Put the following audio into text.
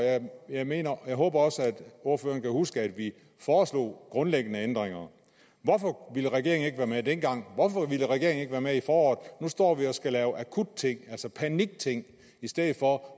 jeg håber også at ordføreren kan huske at vi foreslog grundlæggende ændringer hvorfor ville regeringen ikke være med dengang hvorfor ville regeringen ikke være med i foråret nu står vi og skal lave akutting altså panikting hvor